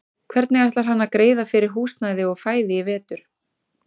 Hvernig ætlar hann að greiða fyrir húsnæði og fæði í vetur?